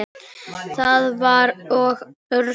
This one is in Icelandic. Það var og örn mikill.